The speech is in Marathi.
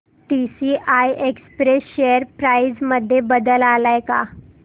टीसीआय एक्सप्रेस शेअर प्राइस मध्ये बदल आलाय का